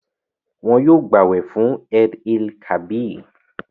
Wọn yóò gbàwẹ fún Eid-el-kabir